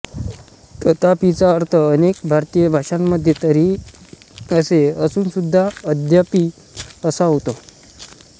तथापिचा अर्थ अनेक भारतीय भाषांमध्ये तरीही असे असूनसुध्दा यद्यपि असा होतो